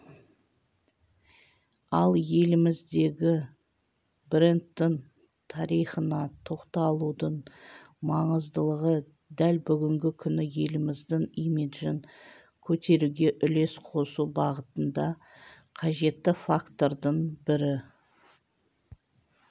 ал еліміздегі брендтің тарихына тоқталудың маңыздылығы дәл бүгінгі күні еліміздің имиджін көтеруге үлес қосу бағытында қажетті фактордың бірі